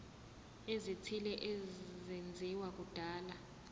ezithile ezenziwa kudala